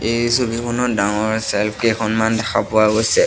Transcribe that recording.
এই ছবিখনত ডাঙৰ ছেলফ্ কেইখনমান দেখা পোৱা গৈছে।